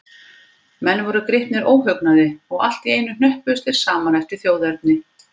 Menn voru gripnir óhugnaði, og allt í einu hnöppuðust þeir saman eftir þjóðerni.